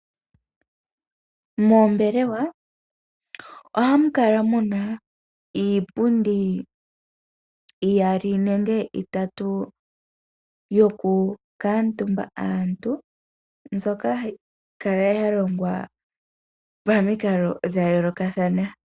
Moombelewe ohamu kala muna iipundi iyali nange itatu yokukaatumba aantu mbyoka hayi kala yalongwa pamikalo dhayolokathana.